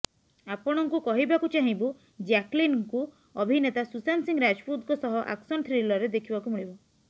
ଆପଣଙ୍କୁ କହିବାକୁ ଚାହିଁବୁ ଜ୍ୟାକଲିନ୍ ଙ୍କୁ ଅଭିନେତା ସୁଶାନ୍ତ ସିଂ ରାଜପୁତଙ୍କ ସହ ଆକ୍ସନ ଥ୍ରିିଲରରେ ଦେଖିବାକୁ ମିଳିବ